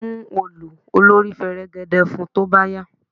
Mú òòlù olórí fẹ̀rẹ̀gẹ̀dẹ̀ fun tó bá yá!